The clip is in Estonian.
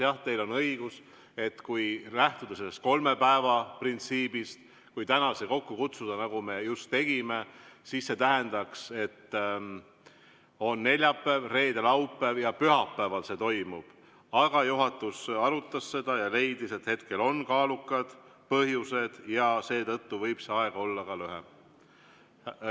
Jah, teil on õigus, et lähtudes sellest kolme päeva printsiibist, kui täna see kokku kutsuda, nagu me just tegime, siis see tähendaks, et on neljapäev, reede ja laupäev ja pühapäeval see toimub, aga juhatus arutas seda ja leidis, et hetkel on kaalukad põhjused ja seetõttu võib see aeg olla ka lühem.